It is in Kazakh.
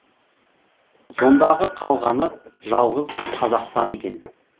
сондағы қалғаны жалғыз қазақстан екен